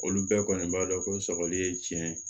Olu bɛɛ kɔni b'a dɔn ko sɔgɔli ye tiɲɛ ye